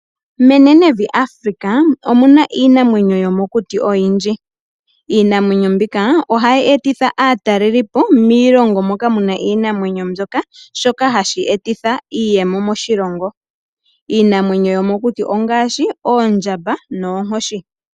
Menenevi Afrika omuna iinamwenyo yomokuti oyindji. Iinamwenyo mbika ohayi etitha aatalelipo miilongo moka muna iinamwenyo mbyoka shoka hashi etitha iiyemo moshilongo. Iinamwenyo yomokuti ongaashi oondjamba noonkoshi.